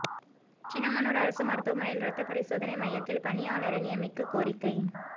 சின்னமனூா் அரசு மருத்துவமனையில் ரத்த பரிசோதனை மையத்தில் பணியாளரை நியமிக்கக் கோரிக்கை